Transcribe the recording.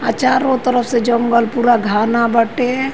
आ चारो तरफ से जंगन पूरा घाना बाटे।